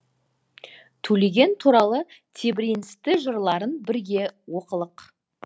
төлеген туралы тебіреністі жырларын бірге оқылық